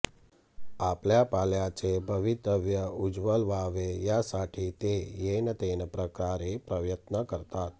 आपल्या पाल्याचे भवितव्य उज्ज्वल व्हावे यासाठी ते येनतेन प्रकारे प्रयत्न करतात